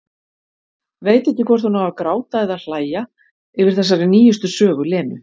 Veit ekki hvort hún á að gráta eða hlæja yfir þessari nýjustu sögu Lenu.